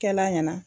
Kɛla ɲɛna